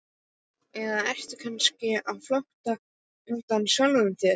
Eða ertu kannski á flótta undan sjálfum þér?